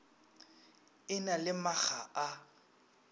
e na le makga a